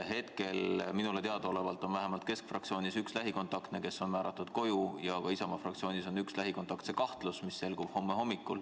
Praegu on minule teadaolevalt Keskerakonna fraktsioonis üks lähikontaktne, kes on määratud koju, ja Isamaa fraktsioonis on üks lähikontaktse kahtlus, mille põhjendatus selgub homme hommikul.